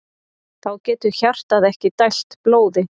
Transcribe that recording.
Þá getur hjartað ekki dælt blóði.